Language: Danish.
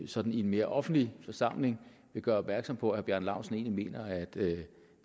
sådan i en mere offentlig forsamling vil gøre opmærksom på at herre bjarne laustsen egentlig mener at det